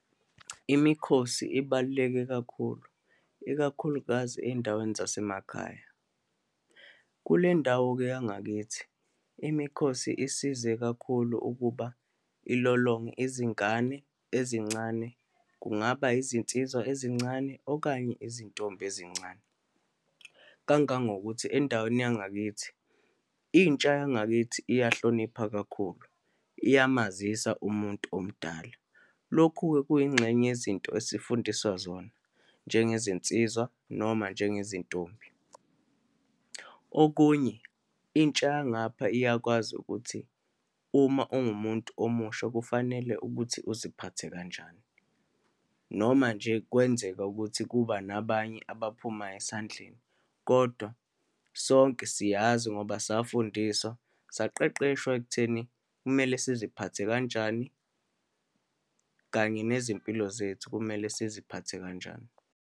Imikhosi ibaluleke kakhulu, ikakhulukazi eyindaweni zasemakhaya. Kulendawo-ke yangakithi, imikhosi isize kakhulu ukuba ilolonge izingane ezincane, kungaba izinsizwa ezincane, okanye izintombi ezincane. Kangangokuthi endaweni yangakithi, intsha yangakithi iyahlonipha kakhulu, iyamazisa umuntu omdala. Lokhu-ke kuyingxenye yezinto esifundiswa zona njengezinsizwa, noma njengezintombi. Okunye, intsha yangapha iyakwazi ukuthi uma ungumuntu omusha kufanele ukuthi uziphathe kanjani, noma nje kwenzeka ukuthi kuba nabanye abaphumayo esandleni, kodwa sonke siyazi ngoba safundiswa, saqeqeshwa ekutheni kumele siziphathe kanjani, kanye nezimpilo zethu, kumele siziphathe kanjani.